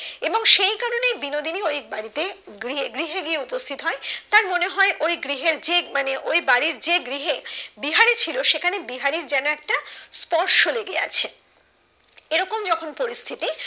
এবং সেই কারণেই বিনোদিনী ওই বাড়িতে গৃহে গৃহে গিয়ে উপস্থিত হয় তার মনে হয় ওই গৃহের যে মানে ওই বাড়ির যে গৃহে বিহারি ছিল সেখানে বিহারীর যেন একটা স্পর্শ লেগে আছে এরকম যখন পরিস্থিতি